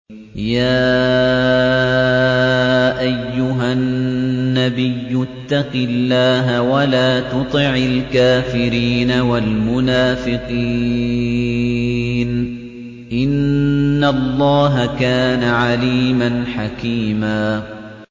يَا أَيُّهَا النَّبِيُّ اتَّقِ اللَّهَ وَلَا تُطِعِ الْكَافِرِينَ وَالْمُنَافِقِينَ ۗ إِنَّ اللَّهَ كَانَ عَلِيمًا حَكِيمًا